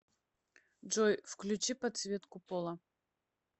джой включи подсветку пола